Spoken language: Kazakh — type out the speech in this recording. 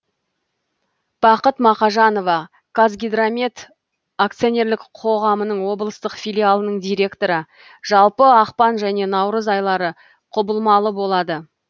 бақыт мақажанова қазгидромет акционерлік қоғамының облыстық филиалының директоры жалпы ақпан және наурыз айлары құбылмалы болады